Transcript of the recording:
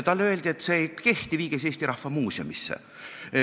Talle öeldi, et see ei kehti, viige see Eesti Rahva Muuseumisse.